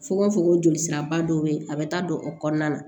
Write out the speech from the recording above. Fokon fokon joli siraba dɔ bɛ ye a bɛ taa don o kɔnɔna na